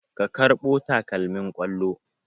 Ka karbo takalmin kollon?